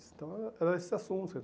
Então, era eram esses assuntos.